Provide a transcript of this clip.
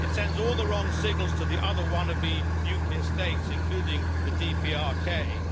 It sends all the wrong signals to the other wannabe nuclear states, including the DPRK.